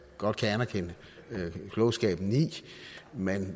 godt kan anerkende klogskaben i men